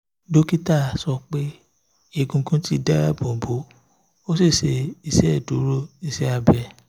dokita sọ pe egungun ti daabobo o si ṣe iṣeduro iṣẹ abẹ